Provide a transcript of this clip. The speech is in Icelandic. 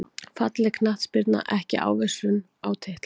Falleg knattspyrna ekki ávísun á titla